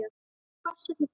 Farsæll og fróður.